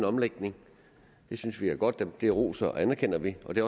omlægning det synes vi er godt og det roser og anerkender vi og det